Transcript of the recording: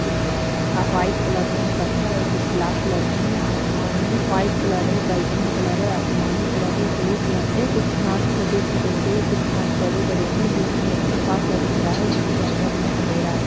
कुछ अब white colour में हैं पत्थर और कुछ ब्लैक कलर के हैं आसमान में व्हाइट कलर है बैगनी कलर है आसमानी कलर है ब्लू कलर है कुछ घास छोटे-छोटे से कुछ घास बड़े-बड़े हैं बीच में एक गुफा-सा दिख रहा है जिसके अंदर मे अंधेरा है।